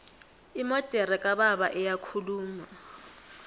imodere kababa iyakhuluma